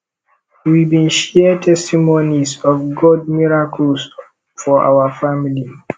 we bin share testimonies of gods miracles for our family